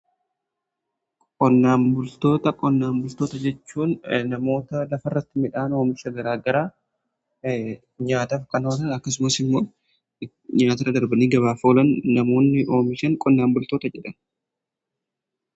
qonnaan bultoota jechuun namoota lafa irratti midhaan oomisha garaa garaa nyaataf kan oolan akkasumas immoo nyaata irra darbanii gabaaf oolan namoonni oomishan qonnaan bultoota jedhamu.